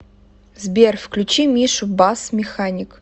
сбер включи мишу басс механик